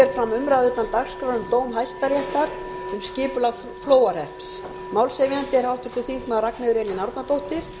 fram umræða utan dagskrár um dóm hæstaréttar um skipulag flóahrepps málshefjandi er háttvirtur þingmaður ragnheiður e árnadóttir